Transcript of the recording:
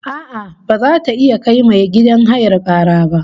A'a, baza ta iya kai mai gidan hayar kara ba